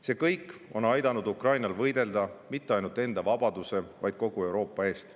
See kõik on aidanud Ukrainal võidelda mitte ainult enda vabaduse, vaid kogu Euroopa eest.